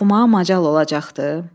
Oxumağa macal olacaqdı?